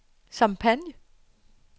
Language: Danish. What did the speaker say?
Champagne